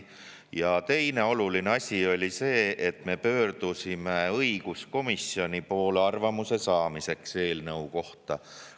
Ja teine oluline asi oli see, et me pöördusime õiguskomisjoni poole arvamuse saamiseks eelnõu kohta.